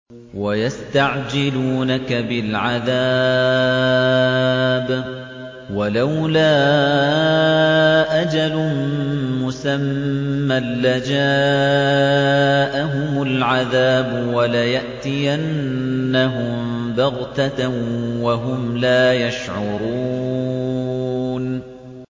وَيَسْتَعْجِلُونَكَ بِالْعَذَابِ ۚ وَلَوْلَا أَجَلٌ مُّسَمًّى لَّجَاءَهُمُ الْعَذَابُ وَلَيَأْتِيَنَّهُم بَغْتَةً وَهُمْ لَا يَشْعُرُونَ